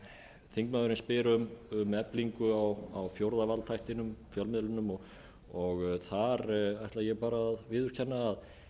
þingsins þingmaðurinn spyr um eflingu á fjórða valdþættinum fjölmiðlunum og þar ætla ég að viðurkenna að